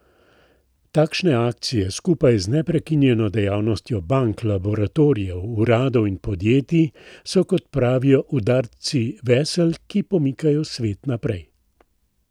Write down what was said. Takšne akcije, skupaj z neprekinjeno dejavnostjo bank, laboratorijev, uradov in podjetij, so, kot pravijo, udarci vesel, ki pomikajo svet naprej.